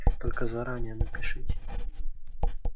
только заранее напишите